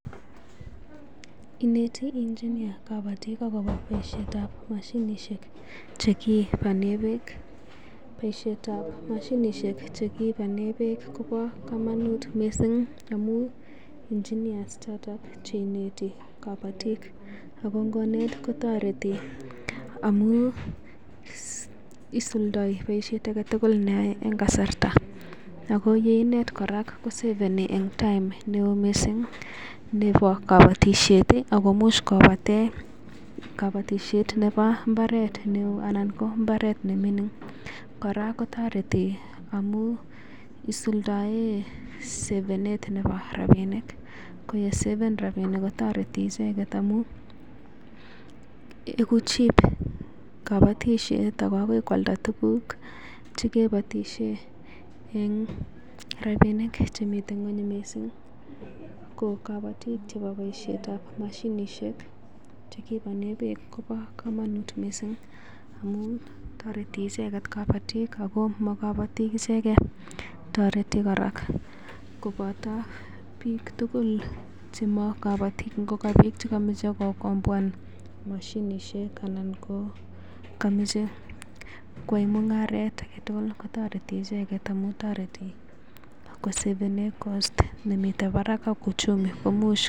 Ineti engineer kabotik agobo boisietab moshinishek che kipane beek, boisietab moshinishek che kipane beek kobo komonut mising amun engineer ichoto che ineti biik ago ngonet kotoreti amun isulda boisiet age tugul neyoe en kasarta ago ye inet kora kosaveni time neo mising nebo koboitshet ago imuch kobate kobotisiet nebo mbaret neo anan ko mbaret ne ming'in. Kora kotoreti amun isuldaen savenet nebo rabinik, ko ye saven rabinik kotoreti icheget amun igu cheap kobotisiet ago agoi koalda tuguk che koibotiisien eng rabinik chemiten ng'weny mising. Ko kobotik chebo boisietab mashinisiek chekipane beek kobo komonut mising amun toreti icheget kabotik ago mo kobotik ichege toreti kora koboto biik tugul chemo kobotik,. Ngo ko biik che komoche kogomboan moshinisiek anan ko komoche koyai mung'aret age tugul kotoreti icheget amun toreti kosavenen cost nemitenn barak ak uchumi